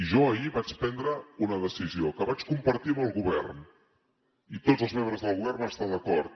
jo ahir vaig prendre una decisió que vaig compartir amb el govern i tots els membres del govern hi van estar d’acord